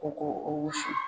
U ko o wusu.